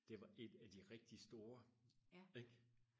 det var et af de rigtig store ikke